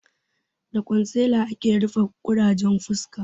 Da kwansila ake rufe ƙurajen fuska